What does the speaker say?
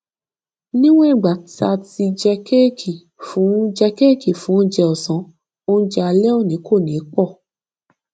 níwọn ìgbà tá a ti jẹ kéèkì fún jẹ kéèkì fún oúnjẹ ọsán oúnjẹ alẹ òní kò ní pò